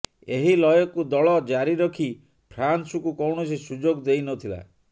ଏହି ଲୟକୁ ଦଳ ଜାରି ରଖି ଫ୍ରାନ୍ସକୁ କୌଣସି ସୁଯୋଗ ଦେଇନଥିଲା